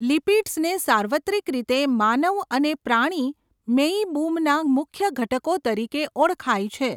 લિપિડ્સને સાર્વત્રિક રીતે માનવ અને પ્રાણી મેઇબુમના મુખ્ય ઘટકો તરીકે ઓળખાય છે.